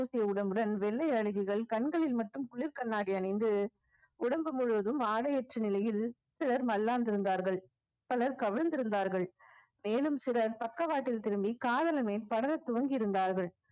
உடம்புடன் வெள்ளை அழகிகள் கண்களில் மட்டும் குளிர் கண்ணாடி அணிந்து உடம்பு முழுவதும் ஆடையற்ற நிலையில் சிலர் மல்லாந்திருந்தார்கள் பலர் கவிழ்ந்திருந்தார்கள் மேலும் சிலர் பக்கவாட்டில் திரும்பி காதலனை படர துவங்கி இருந்தார்கள்